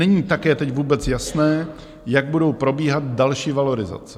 Není také teď vůbec jasné, jak budou probíhat další valorizace.